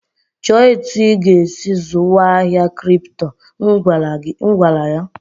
"Chọọ etu ị ga-esi zụwa ahịa Kripto!" M gwara ya.